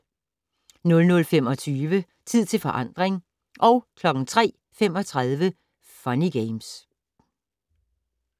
00:25: Tid til forandring 03:35: Funny Games